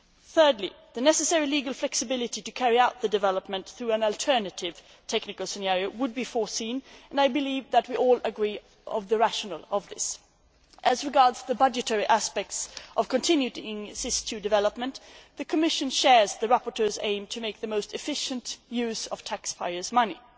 Thirdly, the necessary legal flexibility to carry out the development through an alternative technical scenario would be foreseen and I believe that we all agree on the rationale of this. As regards the budgetary aspects of continuing SIS II development, the Commission shares the rapporteur's aim to make the most efficient use of taxpayers' money.